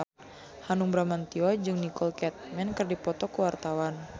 Hanung Bramantyo jeung Nicole Kidman keur dipoto ku wartawan